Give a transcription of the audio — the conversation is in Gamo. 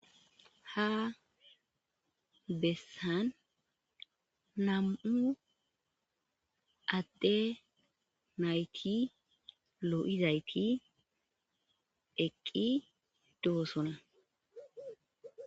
ha bessan nam7u adde nayti lo7izayti eqqi doosona